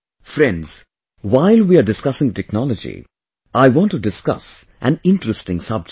Friends, while we are discussing technology I want to discuss of an interesting subject